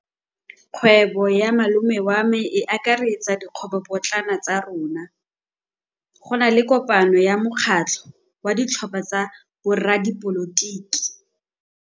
Kgwêbô ya malome wa me e akaretsa dikgwêbôpotlana tsa rona. Go na le kopanô ya mokgatlhô wa ditlhopha tsa boradipolotiki.